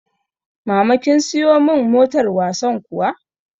Mama kin siyo mun motar wasan kuwa?